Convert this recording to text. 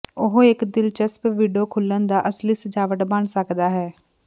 ਉਹ ਇੱਕ ਦਿਲਚਸਪ ਵਿੰਡੋ ਖੁੱਲ੍ਹਣ ਦਾ ਅਸਲੀ ਸਜਾਵਟ ਬਣ ਸਕਦਾ ਹੈ